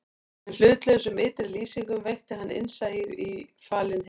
Með hlutlausum ytri lýsingum veitti hann innsæi í falinn heim